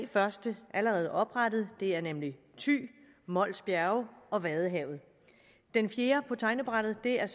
første allerede oprettet det er nemlig thy mols bjerge og vadehavet den fjerde på tegnebrættet er